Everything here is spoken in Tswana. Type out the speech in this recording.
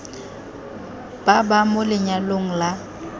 ba ba mo lenyalong la